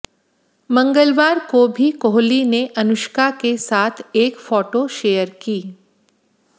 मंगलवार को भी कोहली ने अनुष्का के साथ एक फोटो शेयर की